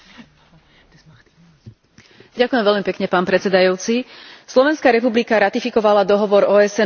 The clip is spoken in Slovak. Slovenská republika ratifikovala dohovor OSN o právach osôb so zdravotným postihnutím už pred viac ako piatimi rokmi.